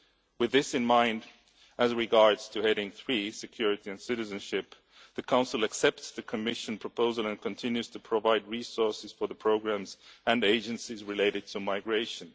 With this in mind, as regards heading 3, Security and Citizenship, the Council accepts the Commission proposal and continues to provide resources for the programmes and agencies related to migration.